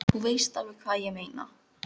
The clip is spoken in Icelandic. Þú veist alveg hvað ég meina!